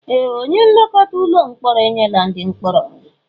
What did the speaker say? Ee! Onye nlekọta ụlọ mkpọrọ enyela ndị mkpọrọ nri.